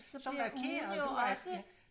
Så markerer du